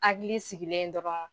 Hakili sigilen ye dɔ ka